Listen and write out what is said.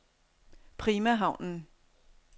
Prima Havnen